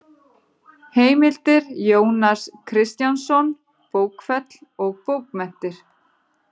Heimildir Jónas Kristjánsson, Bókfell og bókmenntir